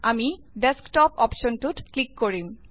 আমি ডেক্সটপ অপ্শ্বনটোত ক্লিক কৰিম